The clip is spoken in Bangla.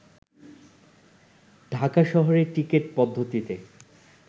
ঢাকা শহরে টিকেট পদ্ধতিতে